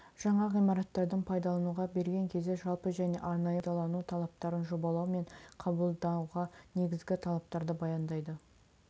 жаңа ғимараттардың пайдалануға берген кезде жалпы және арнайы пайдалану талаптарын жобалау мен қабылдауға негізгі талаптарды баяндайды